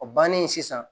O bannen sisan